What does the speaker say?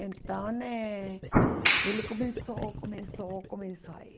Então eh, ele começou, começou, começou a ir.